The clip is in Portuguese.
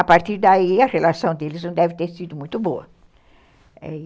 A partir daí, a relação deles não deve ter sido muito boa